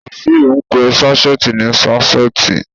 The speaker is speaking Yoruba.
Wàsíù ń pe sáṣẹ́ẹ̀tì ní ṣásẹ́ẹ̀tì.